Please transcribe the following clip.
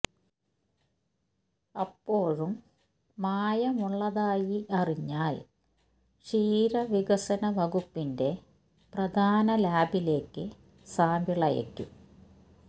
അപ്പോഴും മായമുള്ളതായി അറിഞ്ഞാൽ ക്ഷീര വികസന വകുപ്പിന്റെ പ്രധാന ലാബിലേക്ക് സാമ്പിളയയ്ക്കും